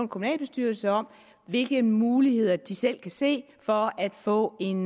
kommunalbestyrelse om hvilke muligheder de selv kan se for at få en